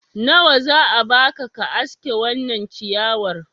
nawa za a baka ka aske wannan ciyawar